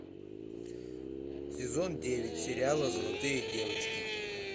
сезон девять сериала золотые девочки